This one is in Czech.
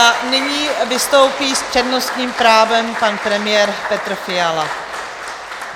A nyní vystoupí s přednostním právem pan premiér Petr Fiala.